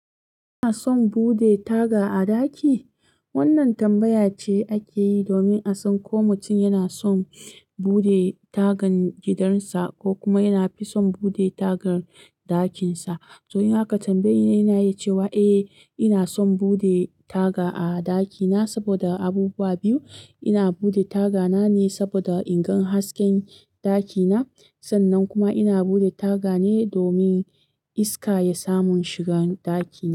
Kina son bude taga a ɗaki? Wannan tambaya ce ake yi domin a san ko mutum yana son bude tagan gidan sa ko kuma yana fi son bude tagar ɗakin sa. To in aka tambaye yi ni a ina iya cewa, a ina son bude taga a ɗakina saboda abubuwa biyu. Ina bude tagana ne saboda ingan hasken ɗakina sannan kuma ina bude taga ne domin iska ya samu shigan ɗaki.